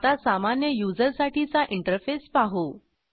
आता सामान्य युजरसाठीचा इंटरफेस पाहू